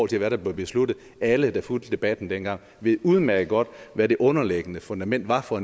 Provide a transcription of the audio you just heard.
til hvad der blev besluttet alle der fulgte debatten dengang ved udmærket godt hvad det underliggende fundament var for